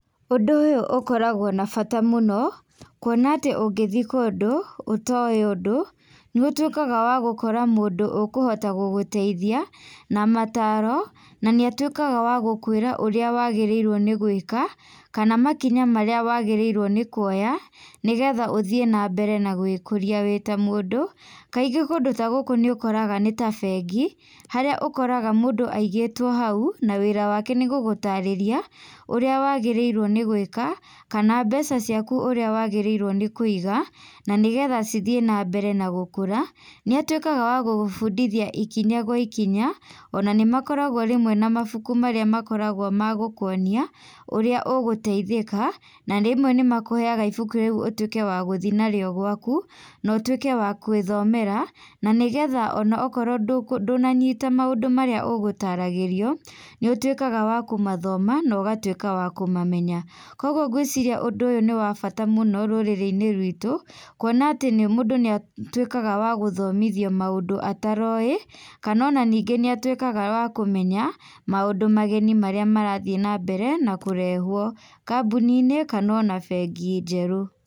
Ũndũ ũyũ ũkoragwo na bata mũno, kuona atĩ ũngĩthiĩ kũndũ ũtoĩ ũndũ, nĩũtuĩkaga wa gũkora mũndũ ũkũhota gũgũteithia na mataro, na nĩ atuĩkaga wagũkwĩra ũrĩa wagĩrĩirwo nĩgwĩka, kana makinya marĩa wagĩrĩirwo nĩ kũoya, nĩgetha ũthiĩ na mbere na gwĩkũria wĩ tamũndũ, kaingĩ kũndũ ta gũkũ nĩũkoraga nĩ ta bengi, harĩa ũkoraga mũndũ aigĩtwo hau, na wĩra wake nĩ gũgũtarĩria ũrĩa wagĩrĩirwo nĩgwĩka, kana mbeca ciaku ũrĩa wagĩrĩirwo nĩ kũiga, na nĩgetha cithiĩ na mbere na gũkũra. Nĩatuĩkaga wa gũgũbundithia ikinya gwa ikinya, ona nĩmakoragwo rĩmwe na mabuku marĩa makoragwo ma gũkuonia ũrĩa ũgũtaithĩka, na rĩmwe nĩmakũhega ibuku rĩu ũtuĩke wa gũthiĩ narĩo gwaku na ũtuĩke wa gwĩthomera, na nĩgetha ona akorwo ndũnanyita maũndũ marĩa ũgũtaragĩrio, nĩũtuĩkaga wa kũmathoma na ũgatuĩka wa kũmamenya. Kwa ũguo ngwĩciria ũndũ ũyũ nĩ wa bata mũno rũrĩrĩ-inĩ ruitũ, kuona atĩ mũndũ nĩ atuĩkaga wa gũthomithio maũndũ ataroĩ, kana ona ningĩ nĩatuĩkaga wa kũmenya maũndũ mageni marĩa marathiĩ na mbere nakũrehwo kambuni-inĩ kana ona bengi njerũ.